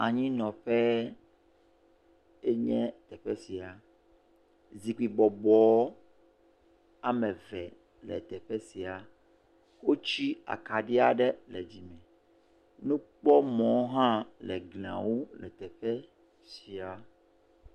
Anyinɔƒe enye teƒe sia, zikpui bɔbɔ ameve hã le teƒe sia, wotsi akaɖi aɖe le dzi me, nukpɔmɔ hã le glie ŋu le teƒe sia.